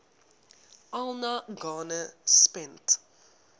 alan garner spent